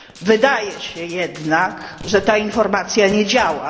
Wydaje się jednak, że ta informacja nie działa.